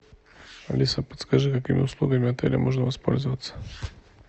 алиса подскажи какими услугами отеля можно воспользоваться